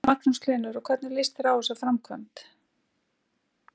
Magnús Hlynur: Og hvernig lýst þér á þessa framkvæmd?